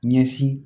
Ɲɛsin